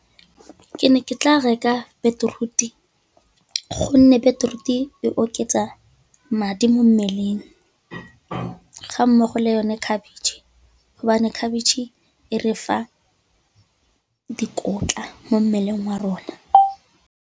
Ke ne ke tla reka beetroot-e, gonne beetroot-e e oketsa madi mo mmeleng ga mmogo le yone cabbage, hobane khabetšhe e re fa dikotla mo mmeleng wa rona.